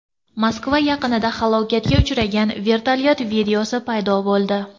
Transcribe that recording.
Moskva yaqinida halokatga uchragan vertolyot videosi paydo bo‘ldi.